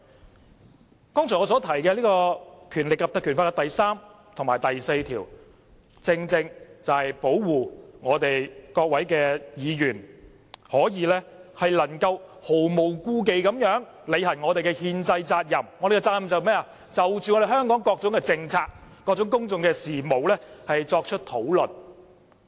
我剛才提到《條例》第3及4條，正正是保護各位議員能毫無顧忌履行憲制責任，即就香港各種政策、公共事務作出討論。